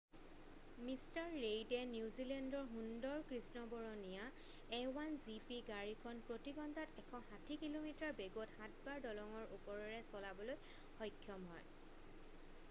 mister ৰেইডে নিউজিলেণ্ডৰ সুন্দৰ কৃষ্ণবৰণীয়া a1 gp গাড়ীখন প্ৰতি ঘণ্টাত 160 কিলোমিটাৰ বেগত 7 বাৰ দলঙৰ ওপৰৰে চলাবলৈ সক্ষম হ'য়